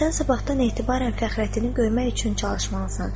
Sən sabahdan etibarən Fəxrəddini görmək üçün çalışmalısan.